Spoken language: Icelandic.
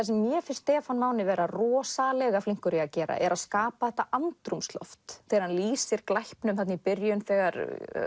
sem mér finnst Stefán Máni vera rosalega flinkur í að gera er að skapa þetta andrúmsloft þegar hann lýsir glæpnum þarna í byrjun þegar